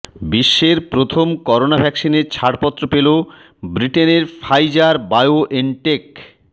বিশ্বের প্রথম করোনা ভ্যাকসিনে ছাড়পত্র পেল ব্রিটেনের ফাইজার বায়োএনটেক